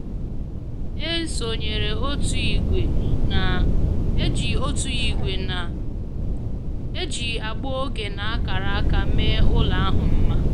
E sonyeere otu ìgwè na-eji otu ìgwè na-eji agba oge na akara aka mee ụlọ ahụ mma